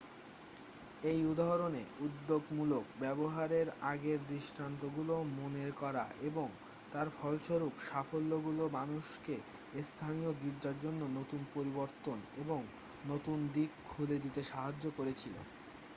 এই উদাহরণে উদ্যোগমূলক ব্যবহারের আগের দৃষ্টান্তগুলো মনে করা এবং তার ফলস্বরূপ সাফল্যগুলো মানুষকে স্থানীয় গির্জার জন্য নতুন পরিবর্তন এবং নতুন দিক খুলে দিতে সাহায্য করেছিল